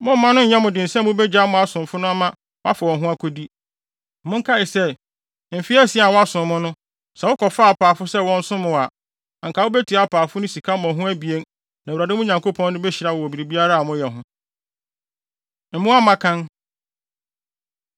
Momma no nyɛ wo den sɛ mubegyaa mo asomfo no ama wɔafa wɔn ho akodi. Monkae sɛ, mfe asia a wɔasom mo no sɛ wokɔfaa apaafo sɛ wɔnsom mo a, anka mubetua apaafo no sika mmɔho abien na Awurade, mo Nyankopɔn no, behyira mo wɔ biribiara a moyɛ ho. Mmoa Mmakan